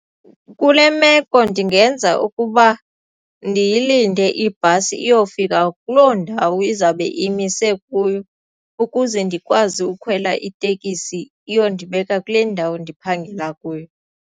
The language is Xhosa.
Kule meko ndingenza ukuba ndiyilinde ibhasi iyofika kuloo ndawo izawube imise kuyo ukuze ndikwazi ukukhwela itekisi iyondibeka kule ndawo ndiphangela kuyo.